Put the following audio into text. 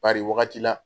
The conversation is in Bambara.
Bari wagati la